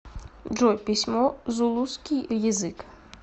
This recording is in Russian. джой письмо зулусский язык